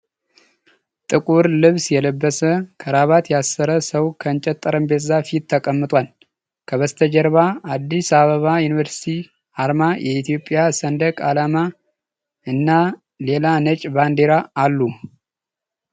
ጥቁር ልብስ የለበሰ፣ ክራባት ያሰረ ሰው ከእንጨት ጠረጴዛ ፊት ተቀምጧል። ከበስተጀርባ የአዲስ አበባ ዩኒቨርሲቲ አርማ፣ የኢትዮጵያ ሰንደቅ ዓላማ እና ሌላ ነጭ ባንዲራ አሉ።